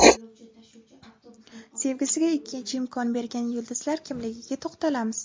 Sevgisiga ikkinchi imkon bergan yulduzlar kimligiga to‘xtalamiz.